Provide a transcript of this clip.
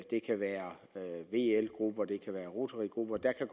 det kan være vl grupper det kan være rotarygrupper der kan